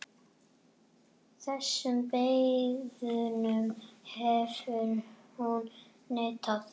Þessum beiðnum hefur hún neitað.